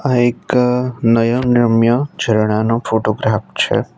આ એક નયન રમ્ય ઝરણા નો ફોટોગ્રાફ છે.